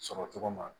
Sɔrɔ cogo ma